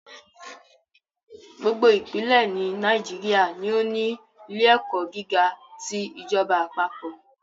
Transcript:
Gbogbo ìpínlẹ̀ ní Nàìjíríà ni ó ní ilé ẹ̀kọ́ gíga ti ìjọba àpapọ̀